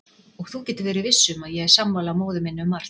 Og þú getur verið viss um að ég er sammála móður minni um margt.